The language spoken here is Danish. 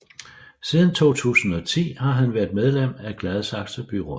Siden 2010 har han været medlem af Gladsaxe Byråd